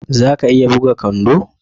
Za a iya buga kwando?